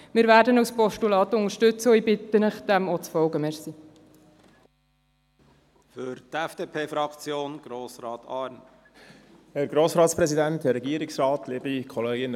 Wir werden ihn als Postulat unterstützen, und ich bitte Sie, dem auch zu folgen.